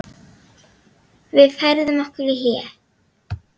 Við færðum okkur í hléi.